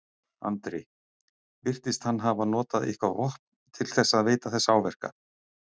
Andri: Virtist hann hafa notað eitthvað vopn til þess að veita þessa áverka?